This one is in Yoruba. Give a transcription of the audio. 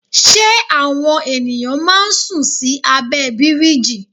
Ṣé àwọn ènìyàn máa ń sùn sí abẹ́ bíríjì?